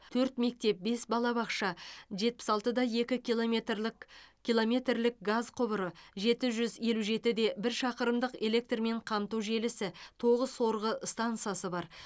төрт мектеп бес балабақша жетпіс алты да екі киломметрлык киломметрлік газ құбыры жеті жүз елу жеті де бір шақырымдық электрмен қамту желісі тоғы сорғы стансасы бар